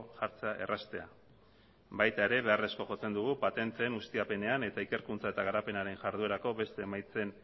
jartzea erraztea baita ere beharrezkoa jotzen dugu patenteen ustiapenean eta ikerkuntza eta garapenaren jarduerako beste emaitzen